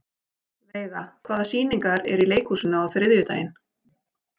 Veiga, hvaða sýningar eru í leikhúsinu á þriðjudaginn?